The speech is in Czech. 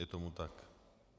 Je tomu tak.